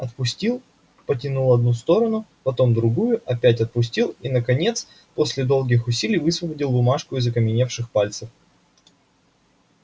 отпустил потянул одну сторону потом другую опять отпустил и наконец после долгих усилий высвободил бумажку из окаменевших пальцев